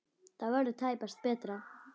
Það verður tæpast betra.